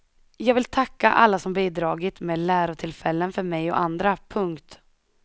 Jag vill tacka alla som bidragit med lärotillfällen för mig och andra. punkt